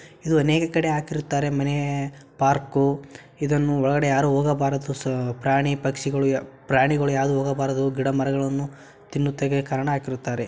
ಇದು ಅನೇಕ ಕಡೆ ಹಾಕಿರುತ್ತಾರೆ ಮನೇ ಪಾರ್ಕು ಇದನ್ನು ಒಳಗಡೆ ಯಾರು ಹೋಗಬಾರದು ಸ ಪ್ರಾಣಿ ಪಕ್ಷಿಗಳು ಯಾ ಪ್ರಾಣಿಗಳು ಯಾವುದು ಹೋಗಬಾರದು ಗಿಡಮರಗಳನ್ನು ತಿನ್ನುತ್ತಿಗೆ ಕಾರಣ ಹಾಕಿರುತ್ತಾರೆ.